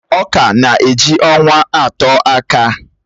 Ọ̀ka na-eji ọnwa atọ akàa